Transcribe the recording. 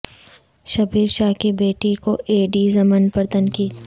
شبیر شاہ کی بیٹی کو ای ڈی سمن پر تنقید